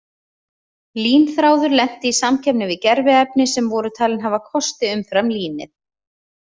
Línþráður lenti í samkeppni við gerviefni sem voru talin hafa kosti umfram línið.